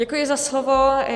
Děkuji za slovo.